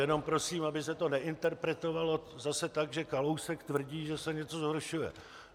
Jenom prosím, aby se to neinterpretovalo zase tak, že Kalousek tvrdí, že se něco zhoršuje.